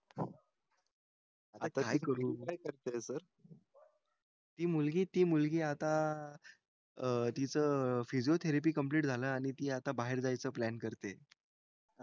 तू मुलगी ती मुलगी आता अह अं तीच physiotherapy complete झालं आणि ती आता बाहेर जायचा plan करतेय